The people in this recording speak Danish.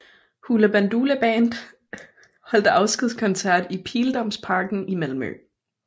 Hoola Bandoola Band holdt afskedskoncert i Pildammsparken i Malmö